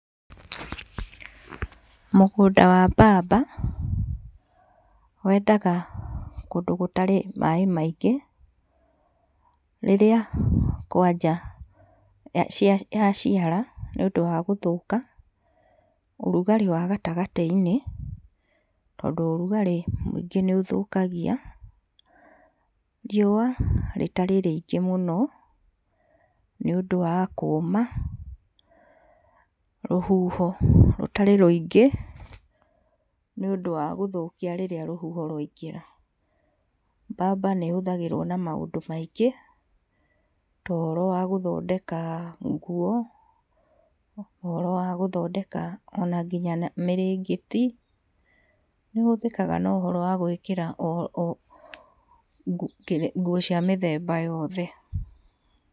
Mũgũnda wa mbamba wendaga kũndũ gũtarĩ maaĩ maingĩ, rĩrĩa kwanja yaciara nĩũndũ wa gũthũka, ũrugarĩ wa gatagatĩ-inĩ, tondũ ũrugarĩ mũingĩ nĩ ũthũkagia. Riuwa rĩtarĩ rĩingĩ mũno, nĩ ũndũ wa kũũma, rũhuho rũtarĩ rũingĩ, nĩũndũ wa gũthũkia rĩrĩa rũhuho rwaingĩha. Mbamba nĩ ĩhũthagĩrwo na maũndũ maingĩ, tohoro wa gũthondeka nguo, ona ũhoto wa gũthondeka ona nginya mĩrengeti, nĩ ĩhũthĩkaga gũthondeka nguo cia mĩthemba yothe.